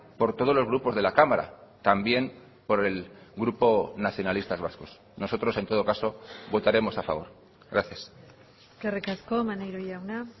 por todos los grupos de la cámara también por el grupo nacionalistas vascos nosotros en todo caso votaremos a favor gracias eskerrik asko maneiro jauna